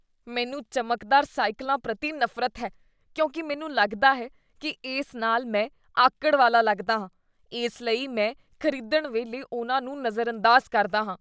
ਮੈਨੂੰ ਚਮਕਦਾਰ ਸਾਈਕਲਾਂ ਪ੍ਰਤੀ ਨਫ਼ਰਤ ਹੈ ਕਿਉਂਕਿ ਮੈਨੂੰ ਲੱਗਦਾ ਹੈ ਕੀ ਇਸ ਨਾਲ ਮੈਂ ਆਕੜ ਵਾਲਾ ਲੱਗਦਾ ਹਾਂ , ਇਸ ਲਈ ਮੈਂ ਖ਼ਰੀਦਣ ਵੇਲੇ ਉਹਨਾਂ ਨੂੰ ਨਜ਼ਰਅੰਦਾਜ਼ ਕਰਦਾ ਹਾਂ।